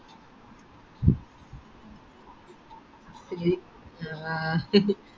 ആ ആഹ്